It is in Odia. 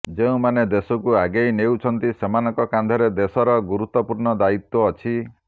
ଯେଉଁମାନେ ଦେଶକୁ ଆଗେଇ ନେଉଛନ୍ତି ସେମାନଙ୍କ କାନ୍ଧରେ ଦେଶର ଗୁରୁତ୍ୱପୂର୍ଣ୍ଣ ଦାୟିତ୍ୱ ଅଛି